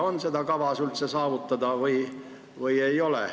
On üldse kavas seda saavutada või ei ole?